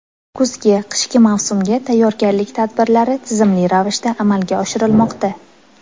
Kuzgi-qishki mavsumga tayyorgarlik tadbirlari tizimli ravishda amalga oshirilmoqda.